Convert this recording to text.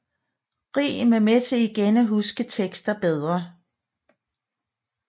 Rim er med til igen at huske tekster bedre